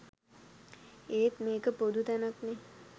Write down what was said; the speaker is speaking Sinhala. ඒත් මේක පොදු තැනක්නෙ.